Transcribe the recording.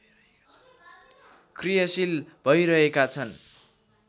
क्रियाशील भइरहेका छन्